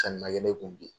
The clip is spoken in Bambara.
Sanni ma kɛ ne kun bi